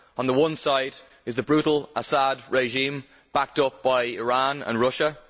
On the one side is the brutal Assad regime, backed up by Iran and Russia.